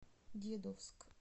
дедовск